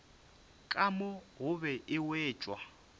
ka mo gobe e wetšwa